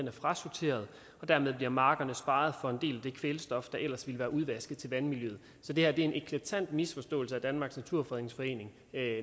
er frasorteret og dermed bliver markerne sparet for en del af det kvælstof der ellers ville være udvasket til vandmiljøet så det her er en eklatant misforståelse af danmarks naturfredningsforening